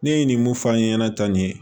Ne ye nin mun f'an ɲɛna tanni